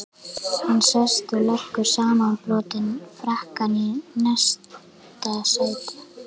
Hann sest og leggur samanbrotinn frakkann í næsta sæti.